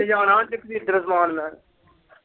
ਕੀ ਜਾਣਾ ਜਗਵੀਰ ਤੇਰਾ ਸਾਮਾਨ ਮੈਂ।